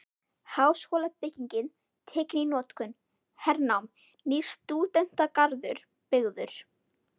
Háskólabyggingin tekin í notkun- Hernám- Nýr stúdentagarður byggður